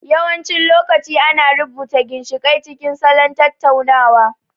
Yawancin lokaci ana rubuta ginshiƙai cikin salon tattaunawa.